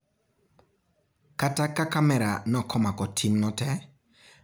Kata ka kamera nokmako timno tee, picha ma bange notango jiariyogo ka duokre